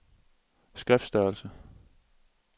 skriftstørrelse